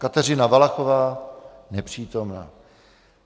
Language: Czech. Kateřina Valachová: Nepřítomna.